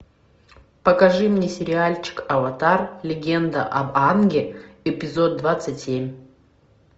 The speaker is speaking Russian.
покажи мне сериальчик аватар легенда об аанге эпизод двадцать семь